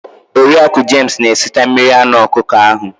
Oriaku james na esita mmiri anụ ọkụkọ ahu